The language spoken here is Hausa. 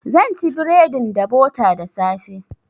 Zan ci bredin da bota da safe.